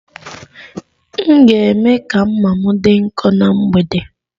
M ga- eme ka mma m dị nkọ ná mgbede.